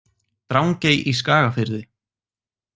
Drangey í Skagafirði.